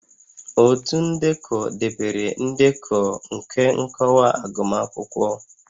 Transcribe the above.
Otu ndekọ debere ndekọ nke nkọwa agụmakwụkwọ